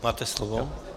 Máte slovo.